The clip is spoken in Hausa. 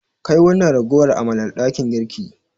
Kai wannan ragowar amalar dakin girki.